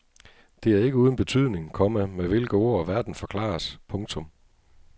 Det er ikke uden betydning, komma med hvilke ord verden forklares. punktum